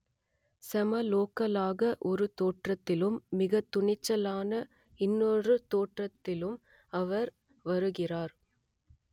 செம லோக்கல் ஆக ஒரு தோற்றத்திலும் மிக துணிச்சலான இன்னொரு தோற்றத்திலும் அவர் வருகிறார்